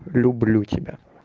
люблю тебя